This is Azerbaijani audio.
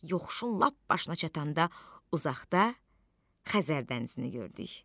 Yoxuşun lap başına çatanda uzaqda Xəzər dənizini gördük.